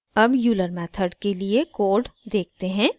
अब euler method के लिए कोड देखते हैं